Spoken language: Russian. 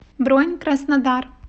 бронь краснодар